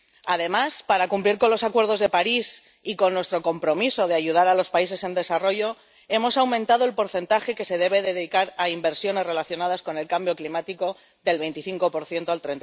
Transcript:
Además, para cumplir con los acuerdos de París y con nuestro compromiso de ayudar a los países en desarrollo hemos aumentado el porcentaje que se debe dedicar a inversiones relacionadas con el cambio climático del 25 al